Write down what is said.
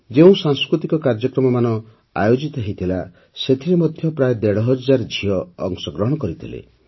ଯେଉଁ ସାଂସ୍କୃତିକ କାର୍ଯ୍ୟକ୍ରମମାନ ଆୟୋଜିତ ହୋଇଥିଲା ସେଥିରେ ମଧ୍ୟ ପ୍ରାୟ ଦେଢ଼ ହଜାର ଝିଅ ଅଂଶଗ୍ରହଣ କରିଥିଲେ